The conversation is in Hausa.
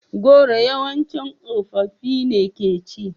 Goro yawance tsoffi ne ke ci.